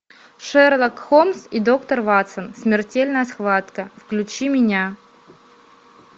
шерлок холмс и доктор ватсон смертельная схватка включи меня